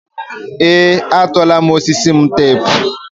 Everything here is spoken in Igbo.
ee, atụọla m osisi m teepu.